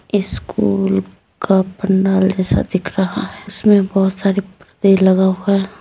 School का पंडाल जैसा दिख रहा है उसमें बहोत सारे पर्दे लगा हुआ है।